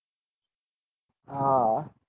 હા